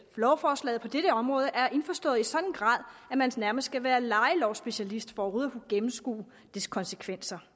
lovforslaget på dette område er indforstået i en sådan grad at man nærmest skal være lejelovsspecialist for overhovedet at kunne gennemskue dets konsekvenser